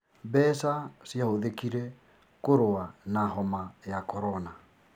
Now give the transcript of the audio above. Mbeca ciahũthĩkire kũrũa na homa ya korona